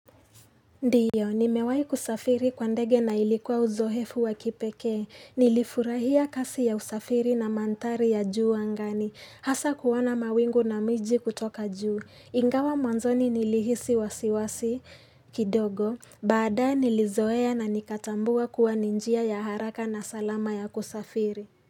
Ndiyo, nimewai kusafiri kwa ndege na ilikuwa uzoefu wa kipekee, nilifurahia kasi ya usafiri na mandhari ya juu angani, hasa kuwana mawingu na miji kutoka juu, ingawa mwanzoni nilihisi wasiwasi kidogo, baadaye nilizoea na nikatambua kuwa ninjia ya haraka na salama ya kusafiri.